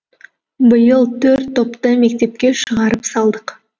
биыл төрт топты мектепке шығарып салдық